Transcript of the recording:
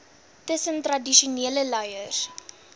tussen tradisionele leiers